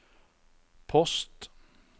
post